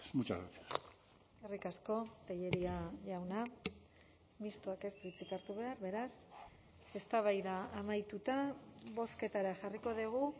muchas gracias eskerrik asko tellería jauna mistoak ez du hitzik hartu behar beraz eztabaida amaituta bozketara jarriko dugu